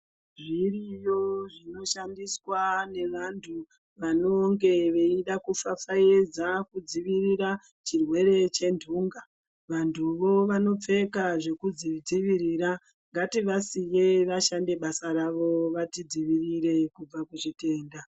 Zviriyo zvinoshandiswa ngevanthu vanonge veida kufafaidza kudzivirira chirwere chendunga vanduvo vanopfeka zvekuzvidzivirira ngativasiye vashande basa ravo vatidzivirire kubva kuzvitenda .